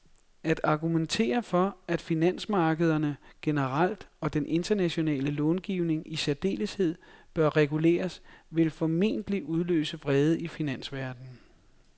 At argumentere for, at finansmarkederne generelt og den internationale långivning i særdeleshed bør reguleres, vil formentlig udløse vrede i finansverdenen